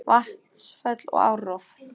Vatnsföll og árrof